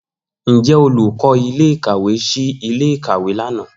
Njẹ olukọ ile-ikawe ṣii ile-ikawe lana?